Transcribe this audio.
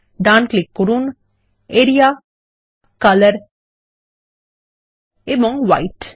right click করুন area colour এবং white